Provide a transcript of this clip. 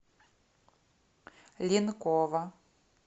линкова